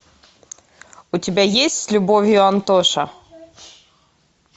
у тебя есть с любовью антоша